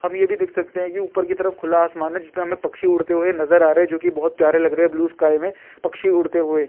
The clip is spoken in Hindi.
हम ये भी देख सकते हैं कि ऊपर कि तरफ खुला आसमान है जिसमें हमें पक्षी उड़ते हुए नजर आ रहे हैं जो कि बहोत प्यारे लग रहे हैं ब्लू स्काई में पक्षी उड़ते हुए।